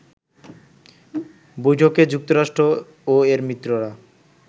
বৈঠকে যুক্তরাষ্ট্র ও এর মিত্ররা